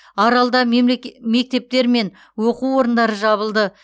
аралда мектептер мен оқу орындары жабылды